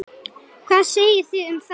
Hvað segið þið um það?